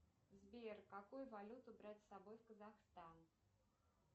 сбер какую валюту брать с собой в казахстан